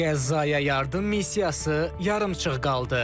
Qəzzaya yardım missiyası yarımçıq qaldı.